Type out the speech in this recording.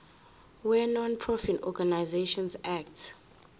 wenonprofit organisations act